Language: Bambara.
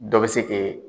Dɔ bɛ se k'i